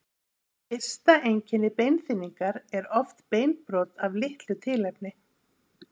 Fyrsta einkenni beinþynningar er oft beinbrot af litlu tilefni.